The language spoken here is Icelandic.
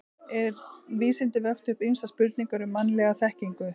En vísindin vöktu upp ýmsar spurningar um mannlega þekkingu.